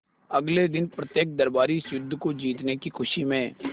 अगले दिन प्रत्येक दरबारी इस युद्ध को जीतने की खुशी में